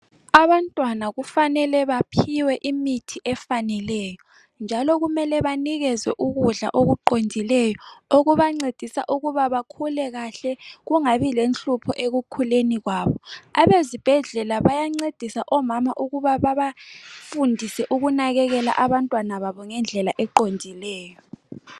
Abantwana kufanele baphiwe imithi efaneleyo njalo kumele banikezwe ukudla okufaneleyo okubancedisa ukuba bakhule kahle abalenhlupho ekukhuleni kwabo abezibhedlela bayancedisa omama babafundise ukunakekela abantwana babo ngendlela eqondileyo .